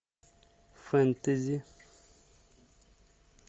фэнтези